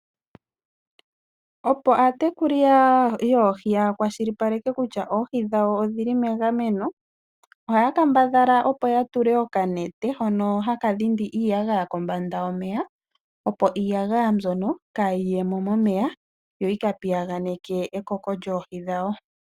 Opo aatekuli yoohi yakwashilipaleke kutya oohi dhawo odhili megameno. Oha ya kambadhala opo yatule okanete hono haka dhindi iiyagaya kombanda yomeya, opo iiyagaya mbyono kaayiye momeya yo yika piyaganeke ekoko lyoohi dhawo.